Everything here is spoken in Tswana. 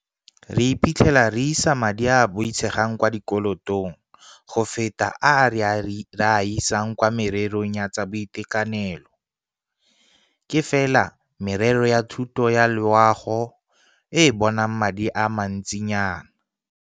Re iphitlhela re isa madi a a boitshegang kwa dikolotong go feta a re a isang kwa mererong ya tsa boitekanelo, ke fela merero ya thuto le ya loago e e bonang madi a mantsinyana.